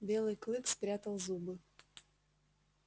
белый клык спрятал зубы